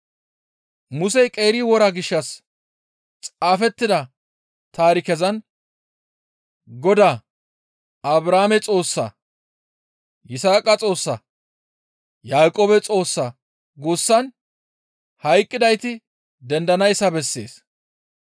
Musey qeeri wora gishshas xaafettida taarikezan Godaa, ‹Abrahaame Xoossaa, Yisaaqa Xoossaa Yaaqoobe Xoossaa› guussan hayqqidayti dendanayssa bessees.